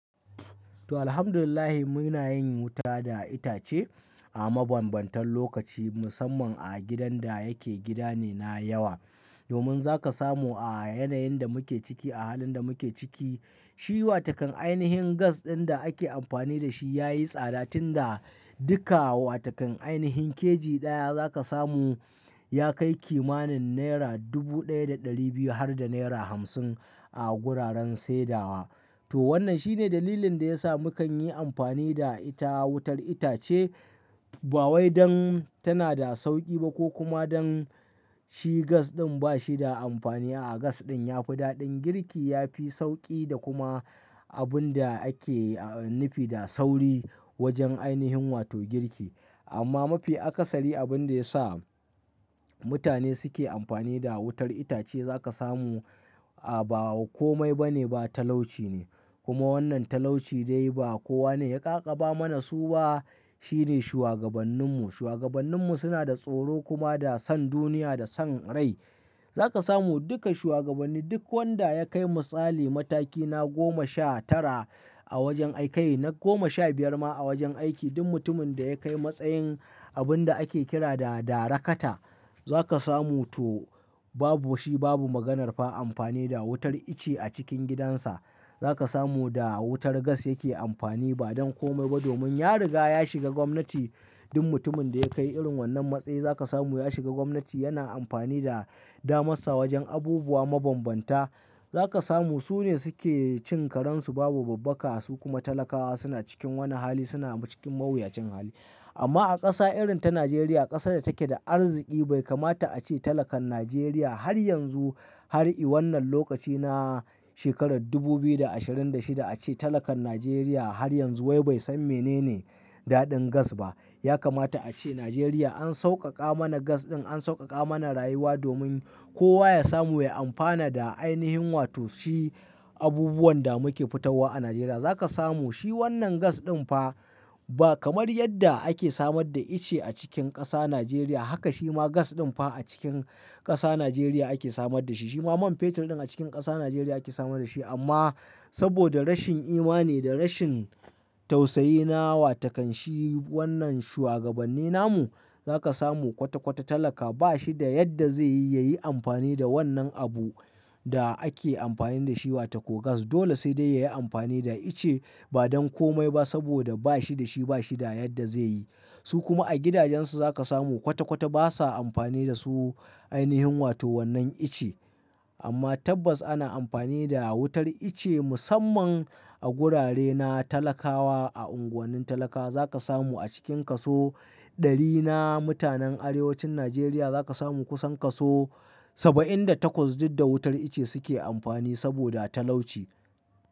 To alhamdulillah muna yin wuta da itace a mabambantan lokaci musamman a gidan da yake gida ne na yawa. Domin za ka samu a yanayin da muke ciki, a halin da muke ciki, shi watakan ainihin gas ɗin da ake amfani da shi ya yi tsada tun da duka watakan ainihin keji ɗaya za ka samu ya kai kimanin naira dubu ɗaya da ɗari biyu har da naira hamsin a wuraren saidawa. To wannan shine dalilin da ya sa mukan yi amfani da ita wutar itace ba wai don tana da sauƙi ba ko kuma don shi gas ɗin ba shi da amfaniya a gas ɗin ya fi daɗin girki, ya fi sauƙi da kuma abun da ake a nufi da sauri wajen ainihin wato girki. Amma mafi akasari abin da ya sa mutane suke amfani da wutar itace za ka samu a wa komai ba ne ba talauci ne. Kuma wannan talauci dai ba kowa ne ya ƙaƙaba mana su ba, shi ne shuagabanninmu. Shuagabanninmu suna da tsoro kuma da san duniya da san rai. Za ka samu duka shuagabanni duk wanda ya kai misali mataki na goma sha tara a wajen aiki, na goma sha biyar ma a wajen aiki duk mutumin da ya kai matsayin abin da ake kira da darakata za ka samu to babu shi babu maganar fa amfani da wutar ice a cikin gidansa. Za ka samu da wutar gas yake amfani ba don komai ba domin ya riga ya shiga gwamnati. Duk mutumin da ya kai irin wannan matsayi za ka samu ya shiga gwamnati yana amfani da damarsa wajen abubuwa mabambanta. Za ka samu su ne suke cin karen su babu babbaka su kuma talakawa suna cikin wani hali suna cikin mawuyacin hali. Amma a ƙasa irin ta Najeriya ƙasar da take da arziki bai kamata a ce talakan Najeriya har yanzu har i wannan lokaci na shekarar dubu biyu da ashirin da shida a ce talakan Najeriya har yanzu wai bai san menene daɗin gas ba. Ya kamata a ce Najeriya an sauƙaƙa mana gas ɗin, an sauƙaƙa mana rayuwa domin kowa ya samu ya amfana da ainihin wato shi abubuwan da muke fitowa a Najeriya. Za ka samu shi wannan gas ɗin fa ba kamar yadda ake samar da ice a cikin ƙasa Najeriya haka shi ma gas ɗin fa a cikin ƙasa Najeriya ake samar da shi. Shi ma man fetur ɗin a cikin ƙasa Najeriya ake samar da shi amma saboda rashin imani da rashin tausayi na watakan shi wannan shugabanni namu za ka samu kwata-kwata talaka ba shi da yadda zai yi ya yi amfani da wannan abu da ake amfani da shi watako gas. Dole sai dai ya yi amfani da ice ba don komai ba saboda ba shi da shi ba shi da yadda zai yi. Su kuma a gidajensu za ka samu kwata-kwata basa amfani da su ainihin wato wannan ice. Amma tabbas ana amfani da wutar ice musamman a gurare na talakawa a unguwannin talakawa. Za ka samu a cikin kaso ɗari na mutanen arewacin Najeriya za ka samu kusan kaso saba'in da takwas duk da wutar ice suke amfani saboda talauci.